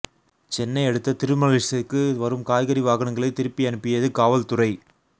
சென்னை அடுத்த திருமழிசைக்கு வரும் காய்கறி வாகனங்களை திருப்பி அனுப்பியது காவல்துறை